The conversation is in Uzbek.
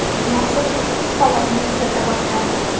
Nashr ushbu holatni tuzata boshlandi.